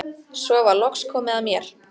Svo var loks komið að mér.